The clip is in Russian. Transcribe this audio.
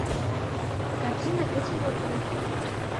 картина кэти морган